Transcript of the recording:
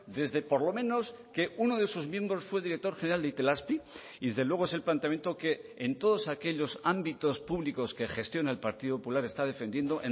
desde por lo menos que uno de sus miembros fue director general de itelazpi y desde luego es el planteamiento que en todos aquellos ámbitos públicos que gestiona el partido popular está defendiendo